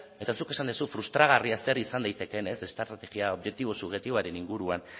eta zuk esan duzu frustragarria zer izan daitekeen estrategia subjektiboaren inguruan